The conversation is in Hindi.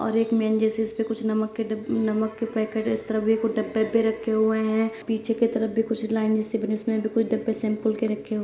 और एक जैसे उसमे कुछ नमक के डिब नमक के पैकेट इस तरफ भी कुछ डब्बे पे रखे हुए है| पीछे की तरफ भी कुछ लाइन जैसी बनी है उसमे भी कुछ डब्बे सैंपल के रखे हु --